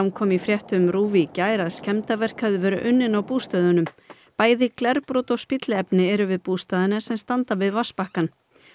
kom í fréttum RÚV í gær að skemmdarverk hefðu verið unnin á bústöðunum bæði glerbrot og spilliefni eru við bústaðina sem standa við vatnsbakkann